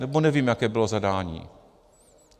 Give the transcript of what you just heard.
Nebo nevím, jaké bylo zadání.